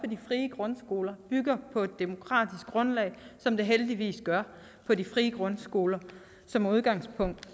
de frie grundskoler bygger på et demokratisk grundlag som det heldigvis gør på de frie grundskoler og som udgangspunkt